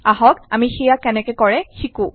আহক আমি সেইয়া কেনেকে কৰে শিকো